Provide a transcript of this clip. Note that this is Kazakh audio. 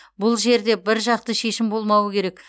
бұл жерде біржақты шешім болмауы керек